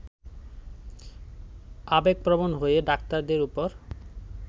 আবেগপ্রবন হয়ে ডাক্তারদের উপর